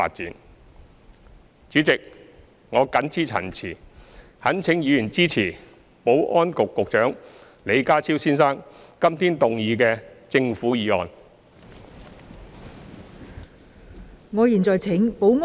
代理主席，我謹此陳辭，懇請議員支持保安局局長李家超先生今天動議的政府議案。